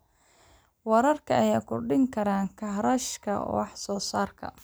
Waraabka ayaa kordhin kara kharashka wax soo saarka.